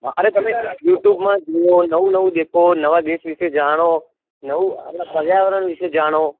અરે તમે youtube માં જુવો નવું નવું દેખો નવા દેશ વીસે જાણો નવું પર્યાવરણ વિશે જાણો